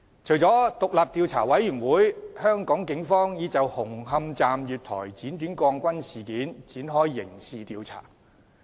除了獨立調查委員會，警方亦已就紅磡站月台剪短鋼筋事件展開刑事調查。